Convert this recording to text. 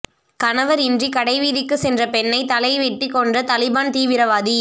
கணவர் இன்றி கடைவீதிக்கு சென்ற பெண்ணை தலைவெட்டி கொன்ற தலிபான் தீவிரவாதி